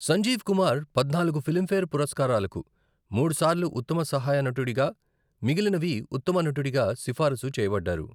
సంజీవ్ కుమార్ పద్నాలుగు ఫిల్మ్ఫేర్ పురస్కారాలకు, మూడు సార్లు ఉత్తమ సహాయ నటుడిగా, మిగిలినవి ఉత్తమ నటుడిగా సిఫారసు చేయబడ్డారు.